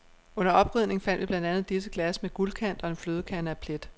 Under oprydning fandt vi blandt andet disse glas med guldkant og en flødekande af plet.